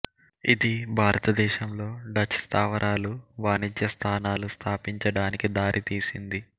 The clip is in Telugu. ఇది భారతదేశంలో డచ్ స్థావరాలు వాణిజ్య స్థానాలు స్థాపించడానికి దారితీసింది